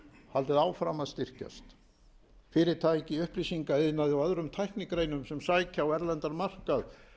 haldið áfram að styrkjast fyrirtæki í upplýsingaiðnaði og öðrum tæknigreinum sem sækja á erlendan markað